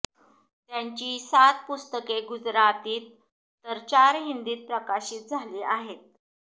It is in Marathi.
त्यांची सात पुस्तके गुजरातीत तर चार हिंदीत प्रकाशित झाली आहेत